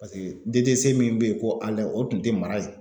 Paseke DDC min be yen ko o tun tɛ mara yen.